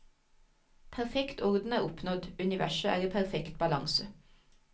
Perfekt orden er oppnådd, universet er i perfekt balanse.